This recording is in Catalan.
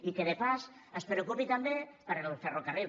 i que de passada es preocupi també pel ferrocarril